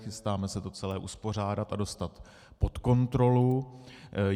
Chystáme se to celé uspořádat a dostat pod kontrolu.